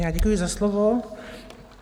Já děkuji za slovo.